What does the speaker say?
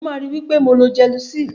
Maa ri wipe mo lo gelusil.